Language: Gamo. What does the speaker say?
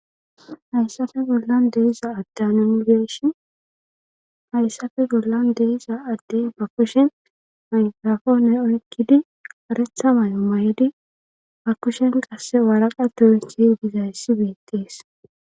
hayssafe gollan deisa adde anongeshin hayssafe gollan deiza adde ba kushen manfrafoone oykkidi aretha may7o may7di bakushen qasse waraqa tuurih hgizayssi beettees